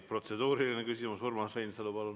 Protseduuriline küsimus, Urmas Reinsalu, palun!